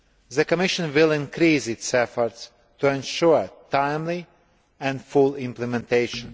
The Commission will increase its efforts to ensure timely and full implementation.